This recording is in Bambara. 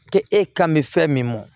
K'e kan bɛ fɛn min mɔ